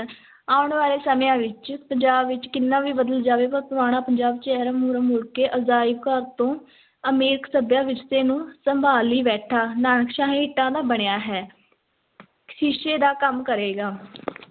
ਆਉਣ ਵਾਲੇ ਸਮਿਆਂ ਵਿੱਚ ਪੰਜਾਬ ਵਿੱਚ ਕਿੰਨਾ ਵੀ ਬਦਲ ਜਾਵੇ ਪਰ ਪੁਰਾਣਾ ਪੰਜਾਬ ਚਿਹਰਾ ਮੁਹਰਾ ਮੁੜ ਕੇ ਅਜਾਇਬ ਘਰ ਤੋਂ ਅਮੀਰ ਸੱਭਿਆ ਵਿਰਸੇ ਨੂੰ ਸੰਭਾਲੀ ਬੈਠਾ ਨਾਨਕਸ਼ਾਹੀ ਇੱਟਾਂ ਦਾ ਬਣਿਆ ਹੈ ਸ਼ੀਸ਼ੇ ਦਾ ਕੰਮ ਕਰੇਗਾ